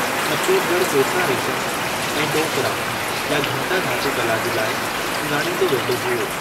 छत्तीसगढ़ कोसा रेशम ऐं डोकरा या घंटा-धातु कला जे लाइ सुञाणींदो वेंदो हुओ।